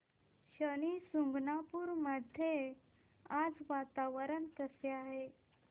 शनी शिंगणापूर मध्ये आज वातावरण कसे आहे